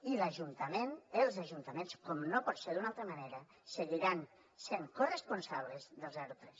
i els ajuntaments com no pot ser d’una altra manera seguiran sent corresponsables del zero a tres